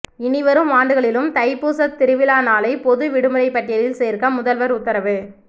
இனிவரும் ஆண்டுகளிலும் தைப்பூசத் திருவிழா நாளை பொது விடுமுறை பட்டியலில் சேர்க்க முதல்வர் உத்தரவு